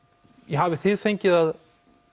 hafið þið fengið að